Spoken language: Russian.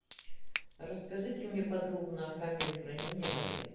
расскажите мне подробно о камере хранения в отеле